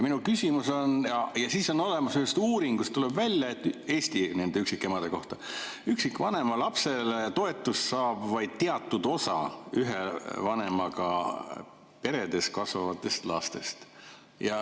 Ühest uuringust tuleb Eesti üksikemade kohta välja, et üksikvanema lapse toetust saab vaid teatud osa ühe vanemaga peres kasvavatest lastest.